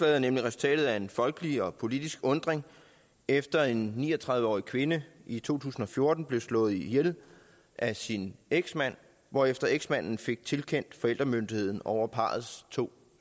er nemlig resultatet af en folkelig og politisk undren efter at en ni og tredive årig kvinde i to tusind og fjorten blev slået ihjel af sin eksmand hvorefter eksmanden fik tildelt forældremyndigheden over parrets to